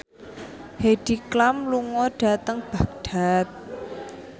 Heidi Klum lunga dhateng Baghdad